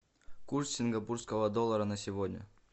курс сингапурского доллара на сегодня